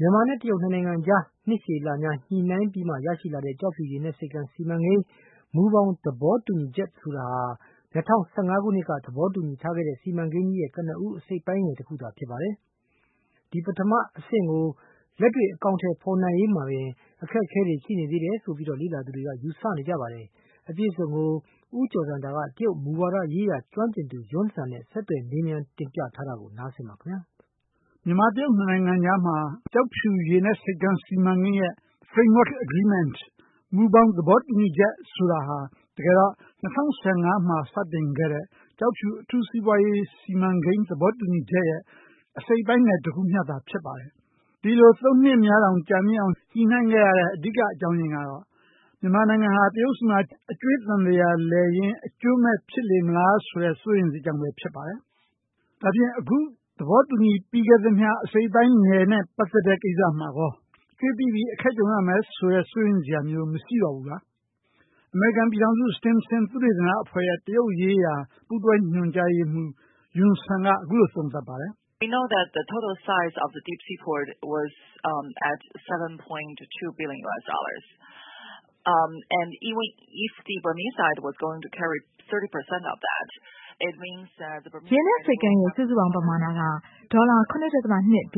မြန်မာ-တရုတ် ၂ နိုင်ငံကြား နှစ်ရှည်လများ ညှိနှိုင်းပြီးမှ ရရှိလာတဲ့ ကျောက်ဖြူရေနက်ဆိပ်ကမ်းစီမံကိန်း မူဘောင်သဘောတူညီချက် ဆိုတာဟာ ၂၀၁၅ ခုနှစ်က သဘောတူညီထားခဲ့တဲ့ စီမံကိန်းကြီးရဲ့ ကနဦးအစိတ်အပိုင်းငယ်တခုဖြစ်ပါတယ်။ ဒီပထမအဆင့်ကို လက်တွေ့အကောင်အထည်ဖေါ်နိုင်ရေးအတွက် မှာပင် အခက်အခဲတွေ ရှိနေသေးတယ်လို့ လေ့လာသူတွေက ယူဆနေကြပါတယ်။ အပြည့်အစုံကို ဦးကျော်ဇံသာ က တရုတ်မူဝါဒရေးရာ ကျွမ်းကျင်သူ Yun Sun နဲ့ ဆက်သွယ် မေးမြန်း တင်ပြထားပါတယ်။ မြန်မာ-တရုတ် ၂ နိုင်ငံကြားမှာ ကျောက်ဖြူရေနက်ဆိပ်ကမ်းစီမံကိန်း မူဘောင်သဘောတူညီချက်ဆိုတာဟာ တကယ်တော့၂၀၁၅ ခုနှစ်က သဘောတူညီထားခဲ့တဲ့ ကျောက်ဖြူအထူးစီးပွားရေး စီမံကိန်းသဘောတူညီချက်ရဲ့ အစိတ်အပိုင်းငယ်တခုသာ ဖြစ်ပါတယ်။ဒီလို ၃ နှစ်တောင်ကြာအောင် ညှိနှိုင်းခဲ့ရတဲ့ အဓိကအကြောင်းအရင်းကတော့ မြန်မာက တရုတ်မှာအကြွှေးသံသရာလည်ရင်း အကျိုးမဲ့ ဖြစ်လေမလားဆိုတဲ့ စိုးရိမ်စိတ်ကြောင့်ပဲဖြစ်ပါတယ်။ ဒါဖြင့်အခုသဘောတူညီပြီးခဲ့သမျှအစိတ်အပိုင်းငယ်နဲ့ ပတ်သက်တဲ့ ကိစ္စမှာရော အကြွေးပိပြီးအခက်ကြုံရမယ်ဆိုတဲ့ စိုးရိမ်စရာ မျိုးမရှိတော့ဘူးလား။ အမေရိကန် အခြေစိုက် Stimson သုတေသနအဖွဲ့ Center ရဲ့ တရုတ်ရေးရာ ပူးတွဲ ညွှန်ကြားရေးမှူး Yun Sun က အခုလိုသုံးသပ်ပါတယ်။ "ရေနက်ဆိပ်ကမ်းရဲ့ စုစုပေါင်းပမာဏက ဒေါ်လာ ၇.၂ ဘ